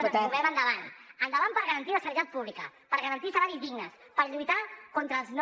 ens movem endavant endavant per garantir la sanitat pública per garantir salaris dignes per lluitar contra els no